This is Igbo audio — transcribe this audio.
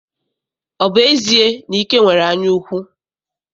Ọ bụ ezie na Ike nwere anyaukwu?